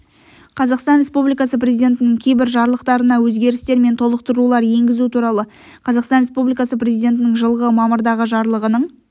қазақстан республикасы президентінің кейбір жарлықтарына өзгерістер мен толықтырулар енгізу туралы қазақстан республикасы президентінің жылғы мамырдағы жарлығының